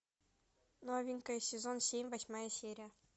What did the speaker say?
новенькая сезон семь восьмая серия